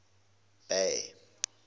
bay